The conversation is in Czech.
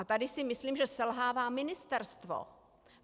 A tady si myslím, že selhává ministerstvo.